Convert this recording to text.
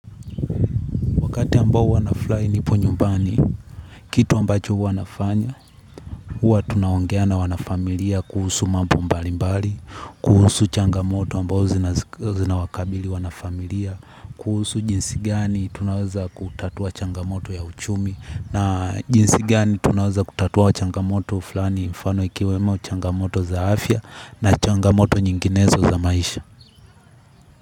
Wakati ambao huwa nafurahi nipo nyumbani, kitu ambacho huwanafanya, huwa tunaongea na wanafamilia kuhusu mambo mbali mbali, kuhusu changamoto ambao zina wakabili wanafamilia, kuhusu jinsigani tunawaza kutatua changamoto ya uchumi, na jinsigani tunaweza kutatua changamoto flani mfano ikiwemo changamoto za afya na changamoto nyinginezo za maisha.